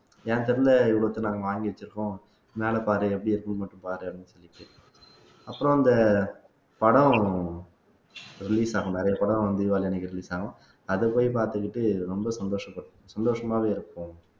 என் தெருவுல இவ்வளவுத்தையும் நாங்க வாங்கி வச்சிருக்கோம் மேலப்பாரு எப்படி இருக்குன்னு மட்டும் பாரு அப்படீன்னு சொல்லிட்டு அப்புறம் அந்த படம் release ஆகும் நிறைய படம் வந்து தீபாவளி அன்னைக்கு release ஆகும் அதை போய் பார்த்துக்கிட்டு ரொம்ப சந்தோஷமா சந்தோஷமாவே இருப்போம்